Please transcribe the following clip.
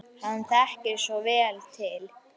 Hann þekkir svo vel til.